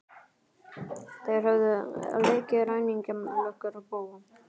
Þeir höfðu leikið ræningja, löggur og bófa.